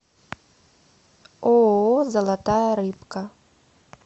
ооо золотая рыбка